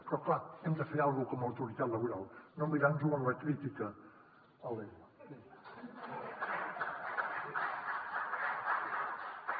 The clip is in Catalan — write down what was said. però clar hem de fer alguna cosa com a autoritat laboral no mirar nos ho en la crítica alegre